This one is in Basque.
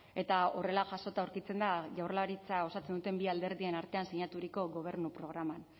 eta horrela jasota aurkitzen da jaurlaritza osatzen duten bi alderdien artean sinaturiko gobernu programan